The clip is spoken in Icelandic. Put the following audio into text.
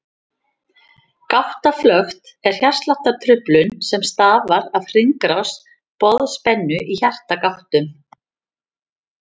Gáttaflökt er hjartsláttartruflun sem stafar af hringrás boðspennu í hjartagáttum.